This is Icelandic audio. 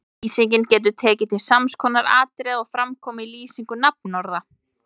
Lýsingin getur tekið til sams konar atriða og fram koma í lýsingu nafnorða